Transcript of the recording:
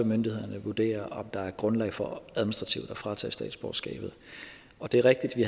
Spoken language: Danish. myndighederne vurdere om der er grundlag for administrativt at fratage statsborgerskabet og det er rigtigt at vi